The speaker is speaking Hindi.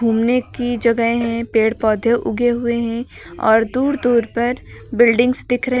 घूमने की जगह है पेड़ पौधे उगे हुए हैं और दूर दूर पर बिल्डिंग्स दिख र --